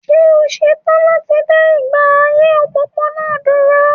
Ṣé o ṣe tán láti dá ìgbé ayé òpópónà dúró?